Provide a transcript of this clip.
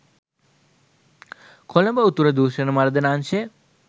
කොළඹ උතුර දූෂණ මර්දන අංශය